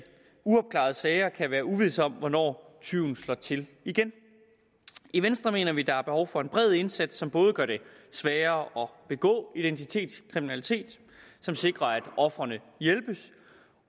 uopklarede sager kan være uvished om hvornår tyven slår til igen i venstre mener vi at der er behov for en bred indsats som både gør det sværere at begå identitetskriminalitet som sikrer at ofrene hjælpes